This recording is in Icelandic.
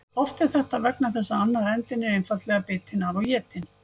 Oft er þetta vegna þess að annar endinn er einfaldlega bitinn af og étinn.